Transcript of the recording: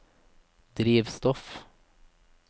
drivstoff